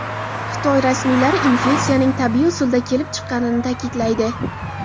Xitoy rasmiylari infeksiyaning tabiiy usulda kelib chiqqanini ta’kidlaydi .